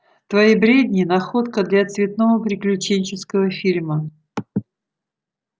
твои бредни находка для цветного приключенческого фильма